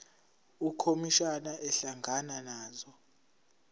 ukhomishana ehlangana nazo